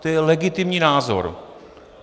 To je legitimní názor.